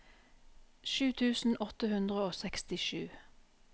sju tusen åtte hundre og sekstisju